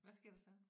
Hvad sker der så?